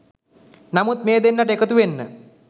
නමුත් මේ දෙන්නට එකතුවෙන්න